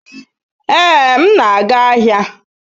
Ee, m na-aga ahịa